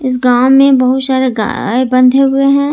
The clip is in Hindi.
गांव में बहुत सारे गाय बंधे हुए हैं।